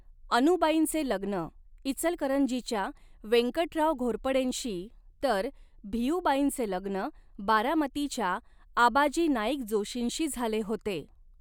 अनुबाईंचे लग्न इचलकरंजीच्या वेंकटराव घोरपडेंशी, तर भिऊबाईंचे लग्न बारामतीच्या आबाजी नाईक जोशींशी झाले होते.